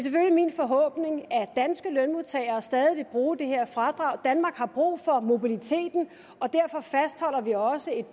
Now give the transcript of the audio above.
min forhåbning at danske lønmodtagere stadig vil bruge det her fradrag danmark har brug for mobiliteten og derfor fastholder vi også et